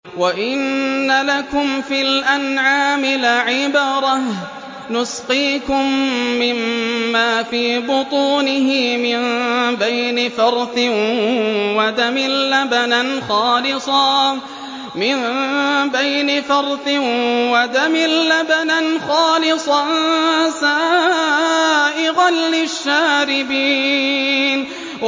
وَإِنَّ لَكُمْ فِي الْأَنْعَامِ لَعِبْرَةً ۖ نُّسْقِيكُم مِّمَّا فِي بُطُونِهِ مِن بَيْنِ فَرْثٍ وَدَمٍ لَّبَنًا خَالِصًا سَائِغًا لِّلشَّارِبِينَ